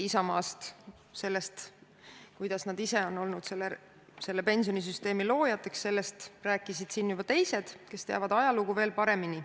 Isamaast ja sellest, kuidas nad ise on olnud selle pensionisüsteemi loojateks, rääkisid siin juba teised, kes teavad ajalugu paremini.